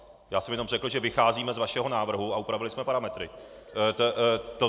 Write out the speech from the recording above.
Já jsem jenom řekl, že vycházíme z vašeho návrhu a upravili jsme parametry.